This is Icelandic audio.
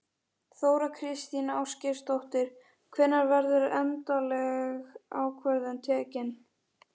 Þóra Kristín Ásgeirsdóttir: Hvenær verður endaleg ákvörðun tekin?